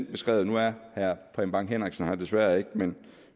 beskrevet nu er herre preben bang henriksen her desværre ikke men